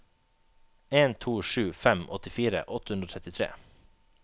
en to sju fem åttifire åtte hundre og trettitre